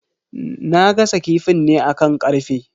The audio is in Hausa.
Na gasa kifin ne akan karfe.